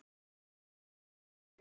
Elsku Adda mín.